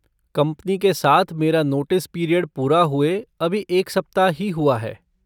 Company के साथ मेरा नोटिस पीरियड पूरे हुए अभी एक सप्ताह ही हुआ है।